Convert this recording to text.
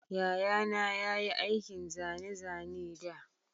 Yayana ya yi aikin zane-zane da